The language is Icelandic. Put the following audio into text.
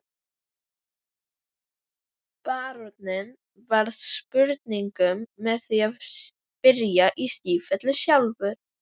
Baróninn varðist spurningum með því að spyrja í sífellu sjálfur.